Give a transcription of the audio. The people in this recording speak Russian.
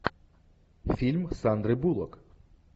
фильм с сандрой буллок